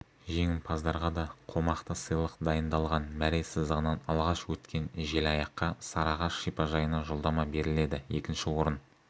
жеңімпаздарға да қомақты сыйлық дайындалған мәре сызығынан алғаш өткен желаяққа сарығаш шипажайына жолдама беріледі екінші орын